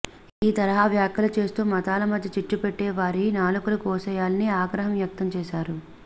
ఈ తరహా వ్యాఖ్యలు చేస్తు మతాల మధ్య చిచ్చుపెట్టే వారి నాలుకలు కోసేయాలని ఆగ్రహాం వ్యక్తం చేశారు